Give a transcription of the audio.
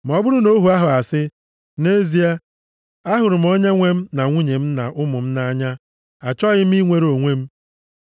“Ma ọ bụrụ na ohu ahụ asị, nʼezie, ‘Ahụrụ m onyenwe m na nwunye m na ụmụ m nʼanya, achọghị m inwere onwe,’